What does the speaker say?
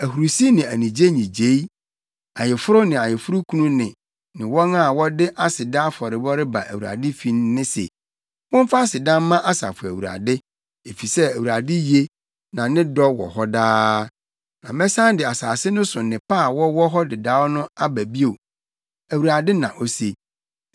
ahurusi ne anigye nnyigyei, ayeforo ne ayeforokunu nne ne wɔn a wɔde aseda afɔrebɔ reba Awurade fi nne se, “‘ “Momfa aseda mma Asafo Awurade, efisɛ Awurade ye, na ne dɔ wɔ hɔ daa.” Na mɛsan de asase no so nnepa a wɔwɔ hɔ dedaw no aba bio,’ Awurade, na ose.